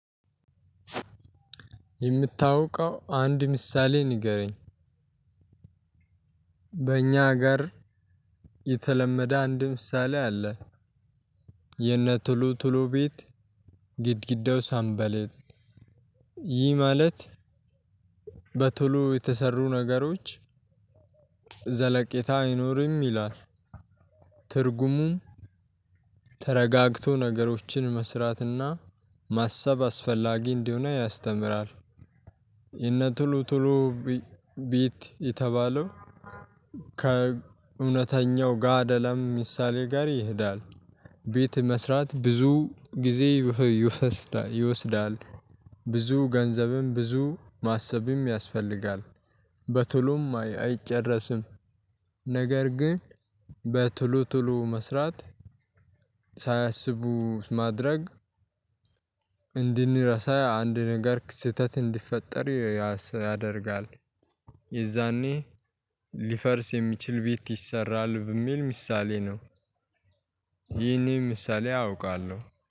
የምታውቀው አንድ ምሳሌ ንገረኝ። በእኛ ጋር የተለመደ አንድ ምሳሌ አለ የነ ቶሎ ቶሎ ቤት ግድግዳው ሰምበሌጥ ይህ ማለት በቶሎ የተሰሩ ነገሮች ዘለቄታ አይኖርም ይላል ትርጉሙም ተረጋግቶ ነገሮችን መስራትና ማሰብ አስፈላጊ እንደሆነ ያስተምራል። የነ ቶሎ ቶሎ ቤት የተባለው ከእውነተኛው ጋድ አለም ምሳሌ ጋር ይሄዳል። ቤት መስራት ብዙ ጊዜ ይወስዳል። ብዙ ገንዘብም ብዙ ማሰብም ያስፈልጋል። በቶሎም አይጨረስም። ነገር ግን በቶሎ ቶሎ መስራት ሳያስቡት ማድረግ- እንድንረሳ አንድ ነገር ስህተት እንዲፈጠር ያደርጋል። የዛኔ ሊፈርስ የሚችል ቤት ይሰራል በሚል ምሳሌ ነው። ይሄን ምሳሌ አውቃለሁ።